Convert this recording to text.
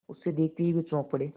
उसे देखते ही वे चौंक पड़े